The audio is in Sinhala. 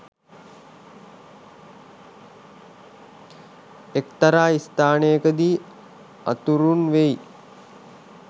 එක්තරා ස්ථානයකදී අතුරුන් වෙයි